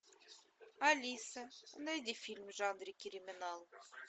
алиса найди фильм в жанре криминал